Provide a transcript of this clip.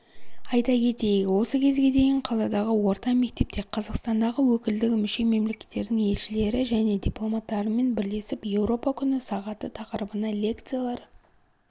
айта кетейік осы кезге дейін қаладағы орта мектепте қазақстандағы өкілдігі мүше мемлекеттердің елшілері және дипломаттарымен бірлесіп еуропа күні сағаты тақырыбына лекциялар